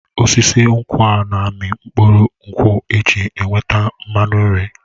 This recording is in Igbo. Osisi nkwụ na-amị mkpụrụ nkwụ eji enweta mmanụ nri.